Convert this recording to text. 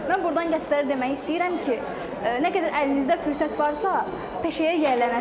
Mən burdan gənclərə demək istəyirəm ki, nə qədər əlinizdə fürsət varsa, peşəyə yiyələnəsiz.